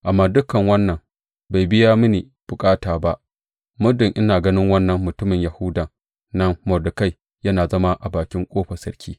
Amma dukan wannan bai biya mini bukata ba, muddin ina ganin wannan mutumin Yahudan nan Mordekai, yana zama a bakin ƙofar sarki.